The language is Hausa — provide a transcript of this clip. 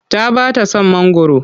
Ta ba ta son mangwaro.